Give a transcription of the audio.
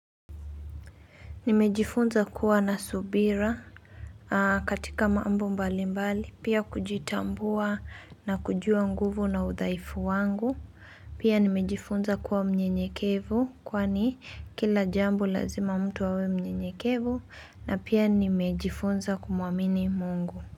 Nimejifunza kuwa na subira, katika mambo mbalimbali, pia kujitambua na kujua nguvu na udhaifu wangu, pia nimejifunza kuwa mnyenyekevu, kwani kila jambo lazima mtu awe mnyenyekevu, na pia nimejifunza kumuamini Mungu.